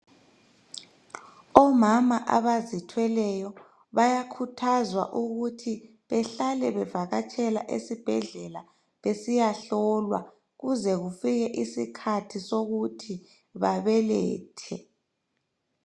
Omama abazithweleyo bayakhuthazwa ukuthi behlale bevakatshela esibhedlela besiya hlolwa kuze kufike isikhathi sokuthi babelethe